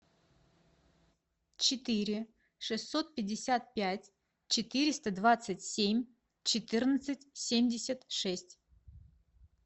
четыре шестьсот пятьдесят пять четыреста двадцать семь четырнадцать семьдесят шесть